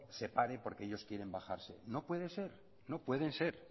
se pare porque ellos quieren bajarse